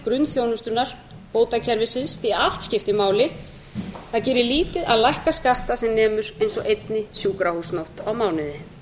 grunnþjónustunnar bótakerfisins því að allt skiptir máli það gerir lítið að lækka skatta sem nemur eins og einni sjúkrahúsnótt á mánuði